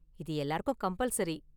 இது எல்லாருக்கும் கம்பல்சரி.